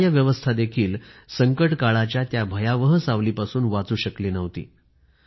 न्यायव्यवस्था देखील संकटकाळाच्या त्या भयावह सावलीपासून वाचू शकली नव्हती